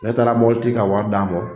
Cɛ taara mobilitigi ka wari d'a ma